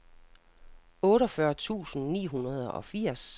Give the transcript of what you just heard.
otteogfyrre tusind ni hundrede og firs